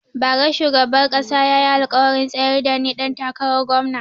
Ba ra shugaban kasa ya yi alkawarin tsayar da ni ɗan takarar gomna